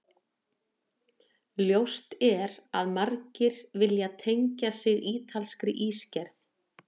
Ljóst er að margir vilja tengja sig ítalskri ísgerð.